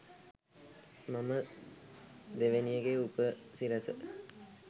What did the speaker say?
මම දෙවෙනි එකේ උපසිරැස